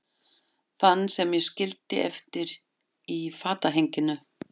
Þann sem ég skildi eftir í fatahenginu.